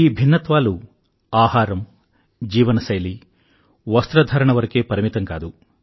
ఈ భిన్నత్వాలు ఆహారం జీవనశైలి వస్త్రధారణ వరకే పరిమితం కాదు